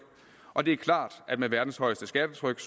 og det er klart at med verdens højeste skattetryk